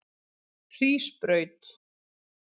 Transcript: Hrísbraut